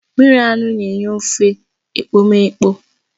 Mmiri anụ na-enye ofe ekpomeekpo